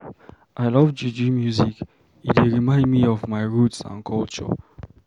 I love juju music, e dey remind me of my roots and culture.